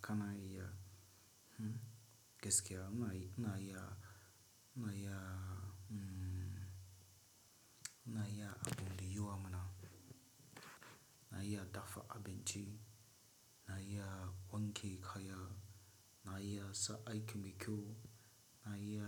Ka naiya, hmm, geskea naiya, naiya, umm, naiya abin liyuwa mana. Na iya daffa abin chi. Naiya wana kaiya. Naiya sa aik mikhyo. Naiya,